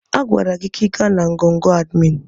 A gwara gị ka ị gaa na ngọngọ̀ admin!